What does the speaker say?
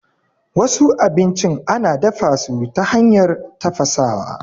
Wasu abincin ana dafasu ta hanyar tafasawa.